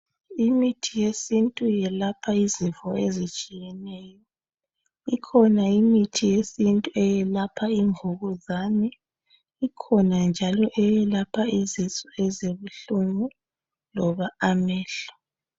Imithi yesintu yelapha izifo ezitshiyeneyo. Ikhona imithi yesintu eyelapha imvukuzane. Ikhona njalo eyelapha izisu ezibuhlungu loba amehlo.